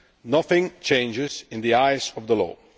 Nothing changes in the eyes of the law.